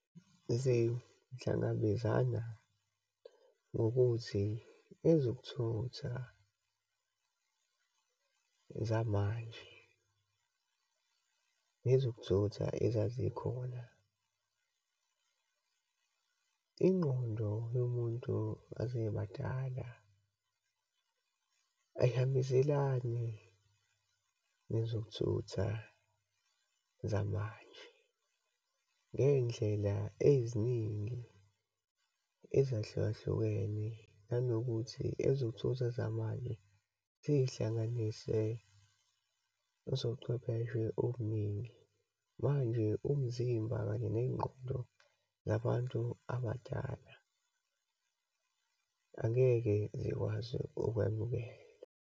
Zihlangabezana ngokuthi ezokuthutha zamanje nezokuthutha ezazikhona, ingqondo yomuntu asebadala ayihambiselani nezokuthutha zamanje. Ngeyindlela eziningi ezahlukahlukene, nanokuthi ekuzothutha zamanje ziyihlanganise ezochwepheshe obuningi. Manje umzimba, kanye neyingqondo zabantu abadala angeke zikwazi ukwamukela.